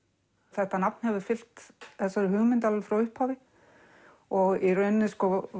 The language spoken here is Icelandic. þetta nafn hefur fylgt þessari hugmynd alveg frá upphafi og í rauninni